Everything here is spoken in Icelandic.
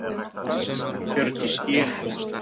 Hjördís: Ég sé að þú ert með hérna einn ferfættan farþega?